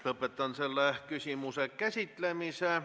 Lõpetan selle küsimuse käsitlemise.